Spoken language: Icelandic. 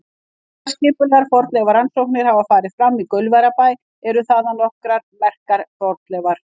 Þótt engar skipulegar fornleifarannsóknir hafi farið fram í Gaulverjabæ eru þaðan nokkrar merkar fornleifar.